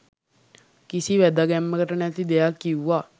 කිසි වැදගැම්මකට නැති දෙයක් කිව්වා.